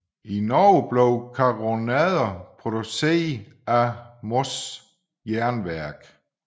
I Norge blev karronader produceret af Moss Jernverk